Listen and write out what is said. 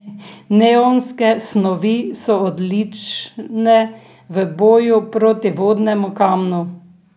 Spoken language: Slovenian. Neionske snovi so odlične v boju proti vodnemu kamnu.